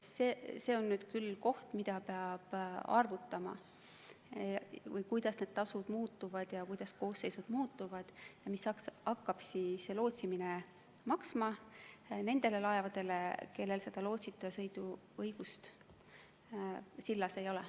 Ja see on küll koht, kus tuleb arvutada, kuidas need tasud muutuvad ja kuidas koosseisud muutuvad ja mis hakkab lootsimine maksma nendele laevadele, kellel lootsita sõidu õigust ei ole.